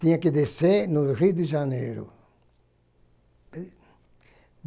Tinha que descer no Rio de Janeiro.